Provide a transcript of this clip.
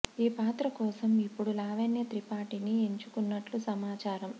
ఈ పాత్ర కోసం ఇప్పుడు లావణ్య త్రిపాఠిని ఎంచుకున్నట్లు సమా చారం